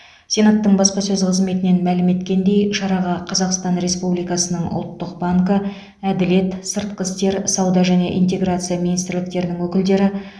сенаттың баспасөз қызметінен мәлім еткендей шараға қазақстан республикасының ұлттық банкі әділет сыртқы істер сауда және интеграция министрліктерінің өкілдері